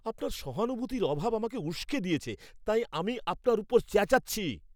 আপনার সহানুভূতির অভাব আমাকে উস্কে দিয়েছে, তাই আমি আপনার ওপর চেঁচাচ্ছি!